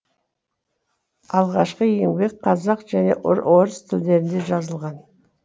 алғашқы еңбек қазақ және орыс тілдерінде жазылған